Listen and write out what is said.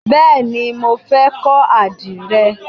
Bẹ́ẹ̀ni, mo fẹ́ kọ́ àdìrẹ.